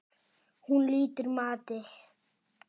Hún lýtur mati.